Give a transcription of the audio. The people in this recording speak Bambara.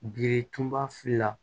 Birituma fila